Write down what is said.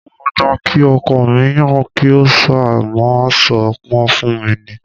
Mo máa gbà kí ọkọ mi yan kí ó ṣáá máa sọ wọn fún mi ni